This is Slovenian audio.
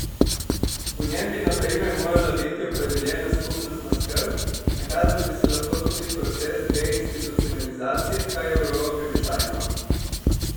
V njem bi na primer morala biti opredeljena skupnostna skrb, nakazal bi se lahko tudi proces deinstitucionalizacije, kar je v Evropi običajno.